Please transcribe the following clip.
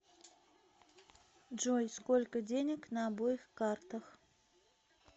джой сколько денег на обоих картах